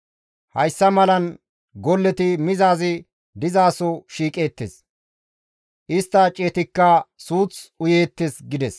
Hayssa malan golleti mizaazi dizaso shiiqeettes; istta ciyetikka suuth uyeettes» gides.